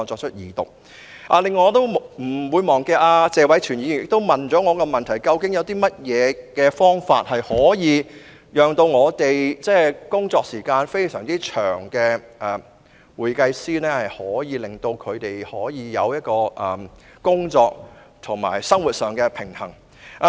此外，我亦沒有忘記謝偉銓議員向我提出了一個問題，就是有何方法可以讓工作時間非常長的會計師，享有工作及生活上的平衡。